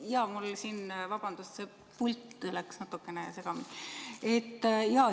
Jaa, mul siin, vabandust, pult läks natukene segamini.